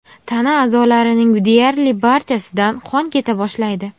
Tana a’zolarining deyarli barchasidan qon keta boshlaydi.